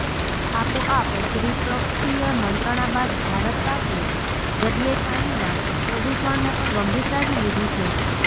આપો આપ દ્વિપક્ષીય મંત્રણા બાદ ભારત પાકે દરિયાઈ પાણીનાં પ્રદુષણને પણ ગંભીરતાથી લીધું છે